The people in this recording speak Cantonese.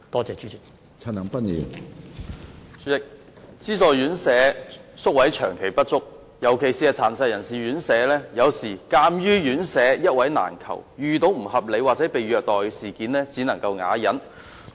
主席，資助院舍宿位長期不足，尤其是殘疾人士院舍，有時鑒於院舍一位難求，院友遇到不合理或被虐待事件時，只能啞忍。